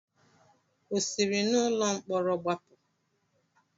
O siri n'ụlọ mkpọrọ gbapụ?